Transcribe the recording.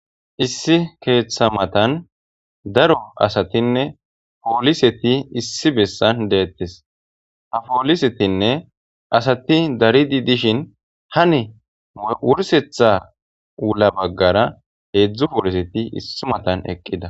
issi keeththa matan daro asatinne pooliseti issi bessan deettes ha poolisetinne asati daridi dishin hane wursetha wula baggara heedzdzu pooliseti issi matan eqqida